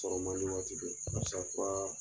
waati don paseke